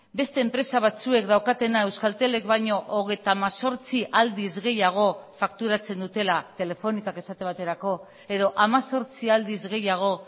beste enpresa batzuek daukatena euskaltelek baino hogeita hemezortzi aldiz gehiago fakturatzen dutela telefonikak esate baterako edo hemezortzi aldiz gehiago